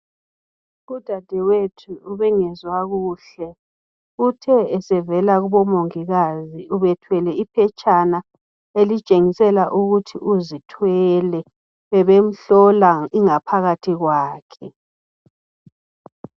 udade wethu ebengezwa kuhle uthe esevela kubomongikazi ebesethwele iphetshana elitshengisela ukuthi uzithwele bebemhlola ingaphakathi kwakhe